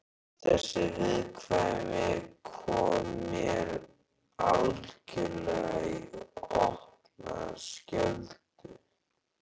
Þessi viðkvæmni kom mér algjörlega í opna skjöldu.